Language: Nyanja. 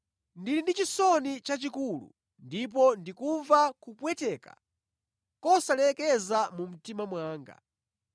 Ndili ndi chisoni chachikulu ndipo ndikumva kupwetekeka kosalekeza mu mtima mwanga.